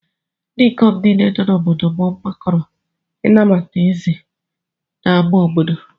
Ndị ikom niile nọ n’obodo m gbakọrọ ịnabata ézè n’ámá obodo.